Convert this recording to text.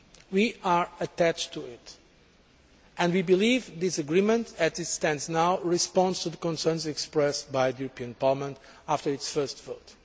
We are attached to this and we believe that this agreement, as it stands now, responds to the concerns expressed by Parliament after its first vote.